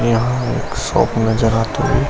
यहाँ एक शॉप नजर आते हुए --